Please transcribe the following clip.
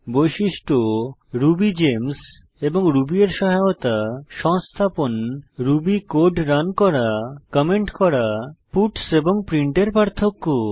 বৈশিষ্ট্য রুবিগেমস এবং রুবি এর সহায়তা সংস্থাপন রুবি কোড রান করা কমেন্ট করা পাটস এবং প্রিন্ট এর পার্থক্য